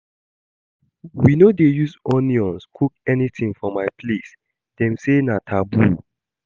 We no dey use onions cook anything for my place, dem say na taboo